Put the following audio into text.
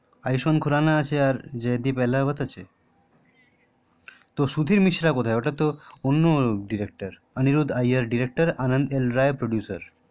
আয়ুষ্মান খুরানা আছে আর জয়দীপ এলাহাবাদ আছে তো সুধীর মিশ্রা কোথায় ওটাতো অন্য director Aniruddha Iyer director Anand L Rai producer